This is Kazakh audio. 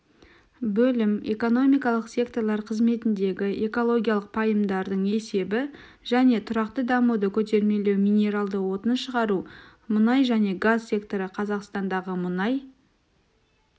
бөлім экономикалық секторлар қызметіндегі экологиялық пайымдардың есебі және тұрақты дамуды көтермелеу минералды отын шығару мұнай және газ секторы қазақстандағы мұнай